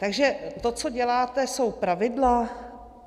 Takže to, co děláte, jsou pravidla?